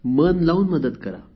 मन लावून मदत करा